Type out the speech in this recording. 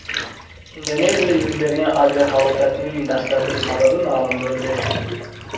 Indoneziyada yuz bergan aviahalokatning dastlabki sababi ma’lum bo‘ldi.